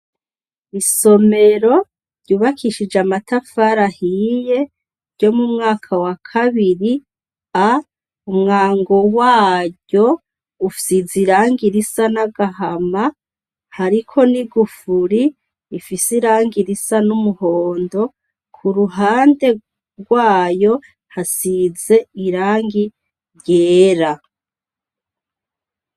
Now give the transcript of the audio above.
Isomero yubakishije amatafari ahiye ryo mu mwaka wa kabiri A, umwango waryo usize irangi risa n'agahama hariko n'igufuri rifise irangi risa n'umuhondo kuruhande rwayo hasize irangi ryera.